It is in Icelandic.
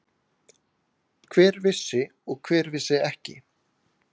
Hver vissi og hver vissi ekki?